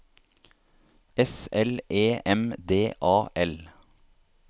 S L E M D A L